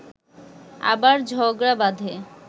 আবার ঝগড়া বাঁধে